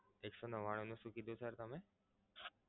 એક સો નવ્વાણું નું શું કીધું sir તમે?